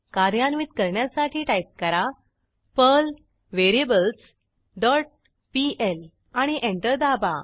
कार्यान्वित करण्यासाठी टाईप करा पर्ल व्हेरिएबल्स डॉट पीएल आणि एंटर दाबा